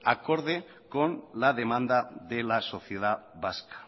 acorde con la demanda de la sociedad vasca